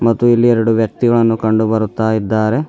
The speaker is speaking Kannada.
ಮತ್ತು ಇಲ್ಲಿ ಎರಡು ವ್ಯಕ್ತಿಗಳನ್ನು ಕಂಡುಬರುತ್ತಾ ಇದ್ದಾರೆ.